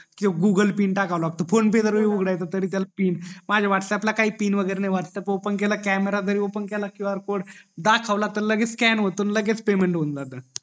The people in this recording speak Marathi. किव्हा गूगल पिन टाकावा लागतो फोन पेय तरी त्याला पिन माझ्या व्हॅटप्प्स ला पिन वैगेरे काही नाही वाह्तअँप्स ओपन केलं कॅमेरा जरी ओपन केला qr कोड जरी दाखवला कि लगेच स्कॅन होऊन जात आणि लगेच पेमेंट होऊन जात